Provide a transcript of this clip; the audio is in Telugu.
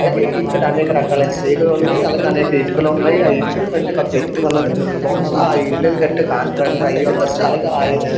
అలగే ఇక్కడ అనేకరకాలైన తీగలున్నాయి అలాగె అనేక ఇటుకలు ఉన్నాయి ఆ ఇటుకుల మధ్య ఒక వ్యక్తి ఉన్నదీ బహుశా ఆ ఇల్లును కట్టే కాంట్రాక్టర్ అయ్యుండొచ్చు అలగే ఆయన --